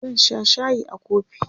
zan Sha shayi a kofi